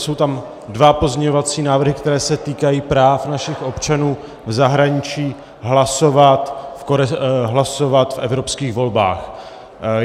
Jsou tam dva pozměňovací návrhy, které se týkají práv našich občanů v zahraničí hlasovat v evropských volbách.